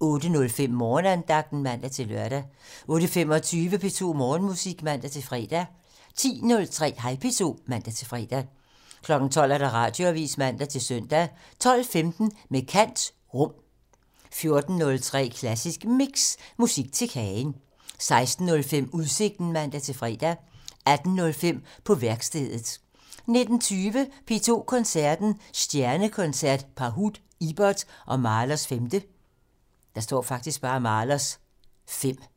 08:05: Morgenandagten (man-lør) 08:25: P2 Morgenmusik (man-fre) 10:03: Hej P2 (man-fre) 12:00: Radioavisen (man-søn) 12:15: Med kant - Rum 14:03: Klassisk Mix - Musik til kagen 16:05: Udsigten (man-fre) 18:05: På værkstedet (man) 19:20: P2 Koncerten - Stjernekoncert: Pahud, Ibert og Mahlers 5